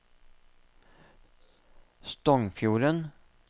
Stongfjorden